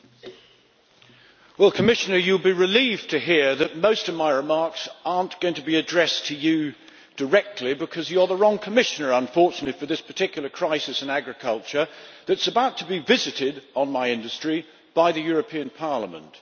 Mr President, the Commissioner will be relieved to hear that most of my remarks are not going to be addressed to him directly because he is the wrong Commissioner, unfortunately, for this particular crisis in agriculture that is about to be visited on my industry by the European Parliament.